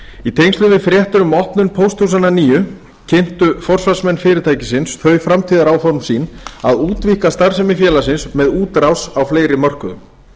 í tengslum við fréttir um opnun pósthúsanna nýju kynntu forsvarsmenn fyrirtækisins þau framtíðaráform sín að útvíkka starfsemi félagsins með útrás á fleiri mörkuðum